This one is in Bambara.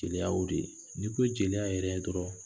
Jeliya y'o de, n'i ko jeliya yɛrɛ dɔrɔn